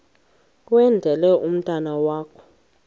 kwendele umntwana wakho